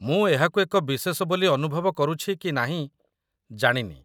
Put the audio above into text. ମୁଁ ଏହାକୁ ଏକ ବିଶେଷ ବୋଲି ଅନୁଭବ କରୁଛି କି ନାହିଁ, ଜାଣିନି